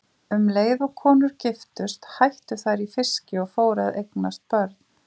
Um leið og konur giftust hættu þær í fiski og fóru að eiga börn.